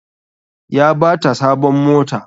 Ya bata sabon mota